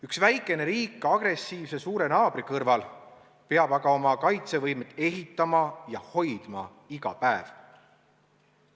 Üks väikene riik agressiivse suure naabri kõrval peab aga oma kaitsevõimet ehitama ja hoidma iga päev.